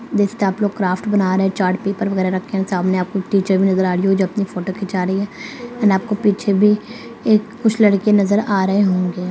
देख सकते है आप लोग क्राफ्ट बना रहे हैं चार्ट पेपर वैगरह रखे हुए है सामने आपके टीचर भी नज़र आ रही है जो अपनी फोटो खींचा रही है एंड आपको पीछे भी कुछ लड़के नज़र आ रहे होंगे।